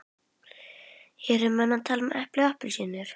Eru menn að tala um epli og appelsínur?